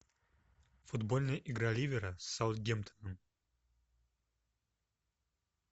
футбольная игра ливера с саутгемптоном